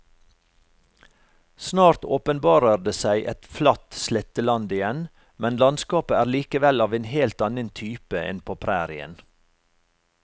Snart åpenbarer det seg et flatt sletteland igjen, men landskapet er likevel av en helt annen type enn på prærien.